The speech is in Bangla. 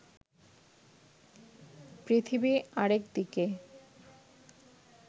পৃথিবী আরেক দিকে